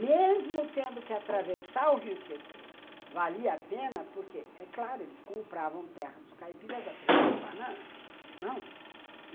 Mesmo tendo que atravessar o Rio Tietê, valia a pena porque, é claro, eles compravam terra dos caipiras a preço de banana, não?